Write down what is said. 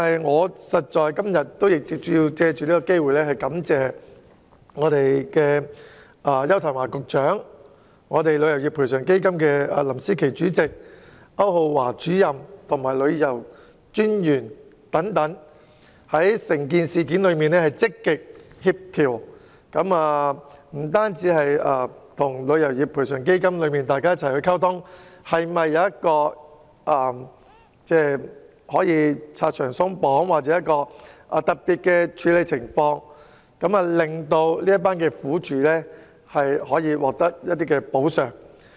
我今天想藉此機會感謝邱騰華局長、旅遊業賠償基金管理委員會主席林詩棋、旅行代理商註冊主任歐浩華及旅遊專員等，就此事件積極協調並與賠償基金溝通，研究如何拆牆鬆綁或特別處理，令這些苦主獲得一些補償。